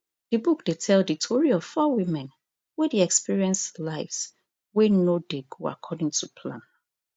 di book dey tell di tori of four women wey dey experience lives wey no dey go according to plan